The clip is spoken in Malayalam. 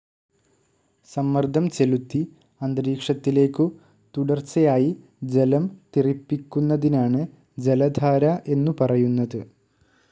സമ്മർദം ചെലുത്തി അന്തരീക്ഷത്തിലേക്കു തുടർച്ചയായി ജലം തെറിപ്പിക്കുന്നതിനാണ് ജലധാര എന്നു പറയുന്നത്.